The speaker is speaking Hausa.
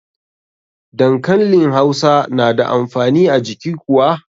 Dankanli hausa na da amfani a jiki kuwa?